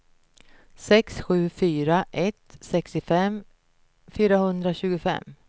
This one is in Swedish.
sex sju fyra ett sextiofem fyrahundratjugofem